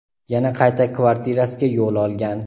yana qayta kvartirasiga yo‘l olgan.